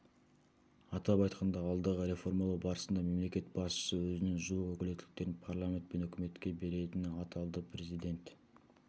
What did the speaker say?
атап айтқанда алдағы реформалау барысында мемлекет басшысы өзінің жуық өкілеттіліктерін парламент пен үкіметке беретіні аталды президент